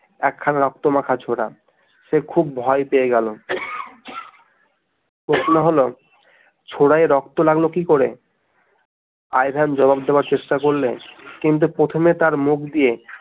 একখানা রক্ত মাখা ছোরা সে খুব ভয় পেয়ে গেল প্রশ্ন হলো ছোরা রক্ত লাগলো কি করে আই ভেন জবাব দেওয়ার চেষ্টা করলে কিন্তু প্রথমে তার মুখ দিয়ে